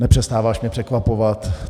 Nepřestáváš mě překvapovat.